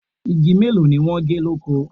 Igi mélòó ni wọ́n gé lóko?